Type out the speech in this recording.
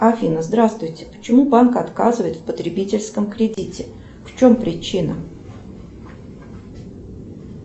афина здравствуйте почему банк отказывает в потребительском кредите в чем причина